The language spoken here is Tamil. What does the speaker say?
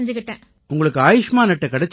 உங்களுக்கு ஆயுஷ்மான் அட்டை கிடைச்சிருக்கா